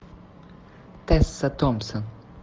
тесса томпсон